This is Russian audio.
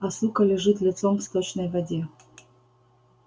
а сука лежит лицом в сточной воде